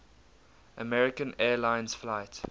american airlines flight